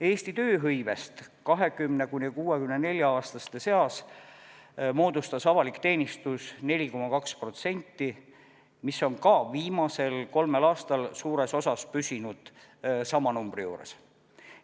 Eesti tööhõivest 20–64-aastaste seas moodustas avalik teenistus 4,2%, mis on ka viimasel kolmel aastal suures osas püsinud sama numbri juures.